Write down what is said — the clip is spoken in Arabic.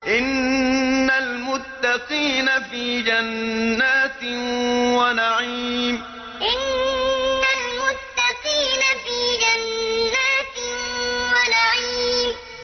إِنَّ الْمُتَّقِينَ فِي جَنَّاتٍ وَنَعِيمٍ إِنَّ الْمُتَّقِينَ فِي جَنَّاتٍ وَنَعِيمٍ